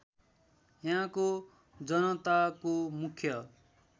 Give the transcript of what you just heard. यहाँको जनताको मुख्य